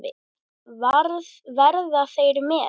Verða þeir með?